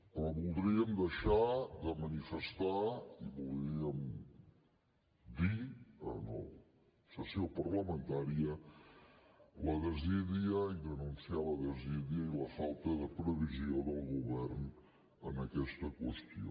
però voldríem deixar de manifest i voldríem dir en la sessió parlamentària la desídia i denunciar la desídia i la falta de previsió del govern en aquesta qüestió